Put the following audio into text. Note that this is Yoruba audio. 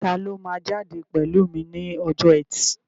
Taló máa jáde pẹ̀lú mi ní ọjọ́ ẹtì?